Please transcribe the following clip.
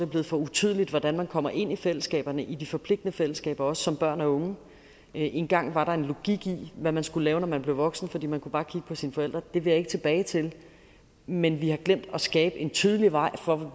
blevet for utydeligt hvordan man kommer ind i fællesskaberne i de forpligtende fællesskaber også som børn og unge engang var der en logik i hvad man skulle lave når man blev voksen for man kunne bare kigge på sine forældre det vil jeg ikke tilbage til men vi har glemt at skabe en tydelig vej for hvor